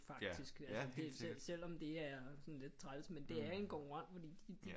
Faktisk selvom det er sådan lidt træls men det er en konkurrent fordi de